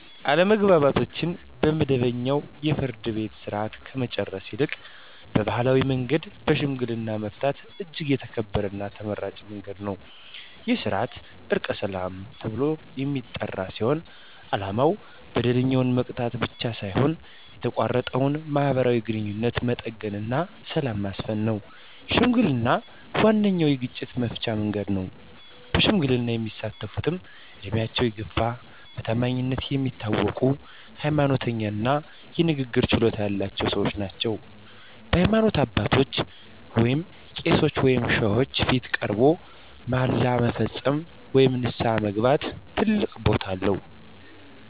አለመግባባቶችን በመደበኛው የፍርድ ቤት ሥርዓት ከመጨረስ ይልቅ በባሕላዊ መንገድ በሽምግልና መፍታት እጅግ የተከበረና ተመራጭ መንገድ ነው። ይህ ሥርዓት "ዕርቀ ሰላም" ተብሎ የሚጠራ ሲሆን፣ ዓላማው በደለኛውን መቅጣት ብቻ ሳይሆን የተቋረጠውን ማኅበራዊ ግንኙነት መጠገንና ሰላምን ማስፈን ነው። ሽምግልና ዋነኛው የግጭት መፍቻ መንገድ ነው። በሽምግልና የሚሳተፍትም ዕድሜያቸው የገፋ፣ በታማኝነታቸው የሚታወቁ፣ ሃይማኖተኛ እና የንግግር ችሎታ ያላቸው ሰዎች ናቸው። በሃይማኖት አባቶች (ቄሶች ወይም ሼኮች) ፊት ቀርቦ መሃላ መፈጸም ወይም ንስሐ መግባት ትልቅ ቦታ አለው።